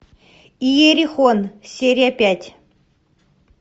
иерихон серия пять